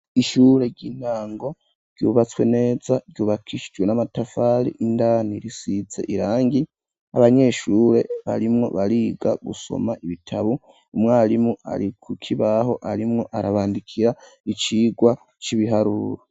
Ishure ry'intango ryubatswe neza ryubakishijwe n'amatafari, indani risize irangi abanyeshure barimwo bariga gusoma ibitabo umwarimu ari kukibaho arimwo arabandikira icigwa c'ibiharuro.